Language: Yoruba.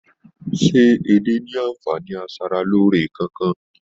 Se edé ní anfààní asaraloore kánkan?